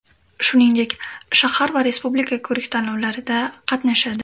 Shuningdek, shahar va respublika ko‘rik-tanlovlarida qatnashadi.